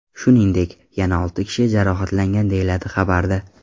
Shuningdek, yana olti kishi jarohatlangan”, deyiladi xabarda.